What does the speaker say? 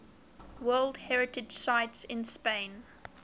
world heritage sites in spain